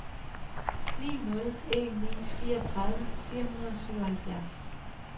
ni nul en ni fireogtredive fire hundrede og syvoghalvfjerds